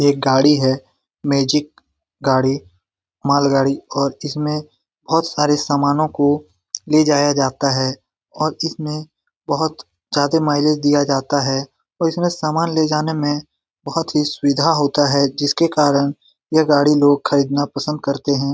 ये एक गाड़ी है मैजिक गाड़ी मालगाड़ी और इसमे बहोत सारे समानों को ले जाया जाता है और इसमे बहुत ज्यादे माइलेज दिया जाता है और इसमे सामान ले जाने मे बहुत ही सुविधा होता है| जिसके कारण लोग ये गाड़ी खरीदना पसंद करते हैं।